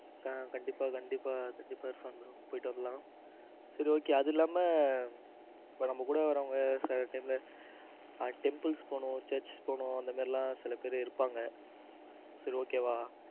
ஆ கண்டிப்பா கண்டிப்பா கண்டிப்பா போயிட்டு வரலாம். சரி okay அது இல்லாம இப்ப நம்ம கூட வர்றவங்க சில time temples போனும் church போனும் அந்த மாதிரி எல்லாம் சில பேர் இருப்பாங்க சரி okay வா